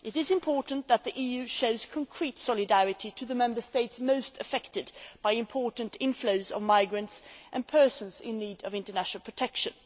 It is important that the EU show concrete solidarity to the Member States most affected by large scale inflows of migrants and persons in need of international protection.